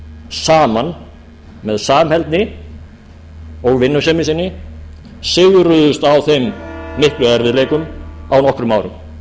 saman með samheldni og vinnusemi sinni sigruðust á þeim miklu erfiðleikum á nokkrum árum